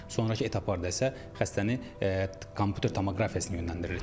Sonrakı etaplarda isə xəstəni kompüter tomoqrafiyasına yönləndiririk.